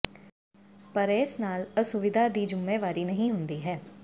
ਪਰ ਇਸ ਨਾਲ ਅਸੁਵਿਧਾ ਦੀ ਜਿੰਮੇਵਾਰੀ ਨਹੀਂ ਹੁੰਦੀ ਹੈ